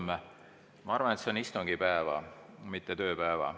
Ma arvan, et on istungipäeva, mitte tööpäeva.